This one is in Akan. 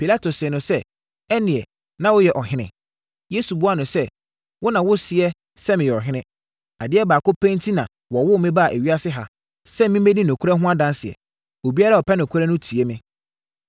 Pilato see no sɛ, “Ɛnneɛ na woyɛ ɔhene?” Yesu buaa no sɛ, “Wo na woseɛ sɛ meyɛ ɔhene. Adeɛ baako pɛ enti na wɔwoo me baa ewiase ha, sɛ memmɛdi nokorɛ ho adanseɛ. Obiara a ɔpɛ nokorɛ no tie me.”